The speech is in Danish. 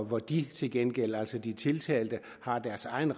hvor de til gengæld altså de tiltalte har deres egen